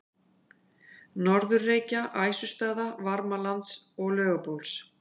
Norður-Reykja, Æsustaða, Varmalands og Laugabóls.